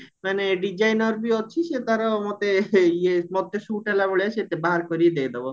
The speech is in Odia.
ମାନେ designer ବି ଅଛି ସିଏ ତାର ମରତେ ଇଏ ମତେ shoot ହେଲା ଭଳିଆ ସେ ବାହାର କରିକି ଦେଇଦବ